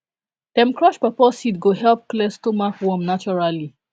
dem crush pawpaw seed go help clear stomach worm naturally